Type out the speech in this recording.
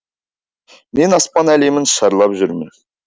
мен аспан әлемін шарлап жүрмін